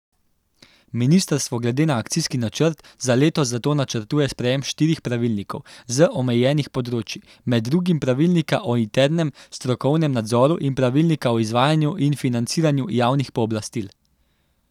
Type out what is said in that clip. Ministrstvo glede na akcijski načrt za letos zato načrtuje sprejem štirih pravilnikov z omenjenih področij, med drugim pravilnika o internem strokovnem nadzoru in pravilnika o izvajanju in financiranju javnih pooblastil.